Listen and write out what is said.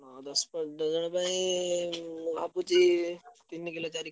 ହଁ ଦଶ ପନ୍ଦର ଜଣ ପାଇଁ ଉଁ ଭାବୁଚି ତିନି କିଲେ ଚାରି କିଲେ।